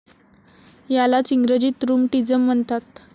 यालाच इंग्रजीत रूमटिज़म म्हणतात.